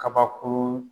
Kabakurun